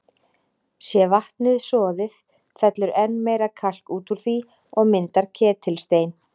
Sé vatnið soðið, fellur enn meira kalk út úr því og myndar ketilstein.